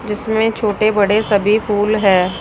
जिसमें छोटे बड़े सभी फूल है।